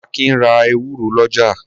Akin ra ewúro lọ́jà.